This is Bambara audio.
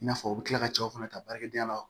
I n'a fɔ u bɛ tila ka cɛw fana ta baarakɛdenya la